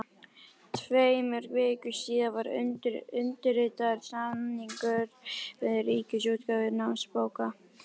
Tveimur vikum síðar var undirritaður samningur við Ríkisútgáfu námsbóka.